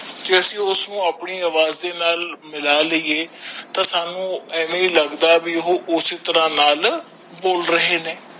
ਤੇ ਅਸੀਂ ਉਸ ਨੂੰ ਆਪਣੇ ਅਵਾਜ ਦੇ ਨਾਲ ਮਿਲਾ ਲੀਯੇ ਤਾ ਸਾਨੂ ਐਵੇ ਲੱਗਦਾ ਹੈ ਵੀ ਓਹੋ ਉਸੀ ਤਰਾਹ ਨਾਲ ਬੋਲ ਰਹੇ ਨੇ